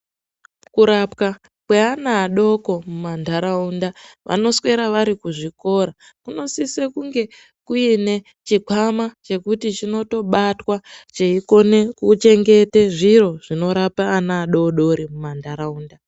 Kurapwa kwevana vadoko mumandaraunda vanoswera vari kuzvikora kunosisa kunge kuine chikwama chekubatwa cheikona kuchengetwa zviro zvinorapa ana adodori mumandaraunda.